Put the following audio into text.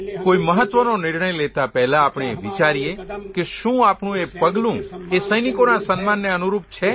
કોઇ મહત્વનો નિર્ણય લેતાં પહેલાં આપણે એ વિચારીએ કે શું આપણું એ પગલું એ સૈનિકોના સન્માનને અનુરૂપ છે